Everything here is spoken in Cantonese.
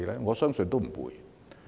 我相信不會。